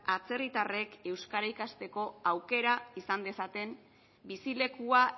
atzerritarrek euskara ikasteko aukera izan dezaten bizilekua